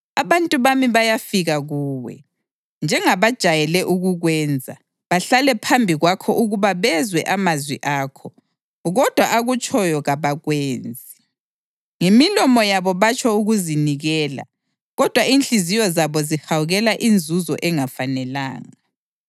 Abantu bami bayafika kuwe, njengabajayele ukukwenza, bahlale phambi kwakho ukuba bezwe amazwi akho, kodwa akutshoyo kabakwenzi. Ngemilomo yabo batsho ukuzinikela, kodwa inhliziyo zabo zihawukela inzuzo engafanelanga.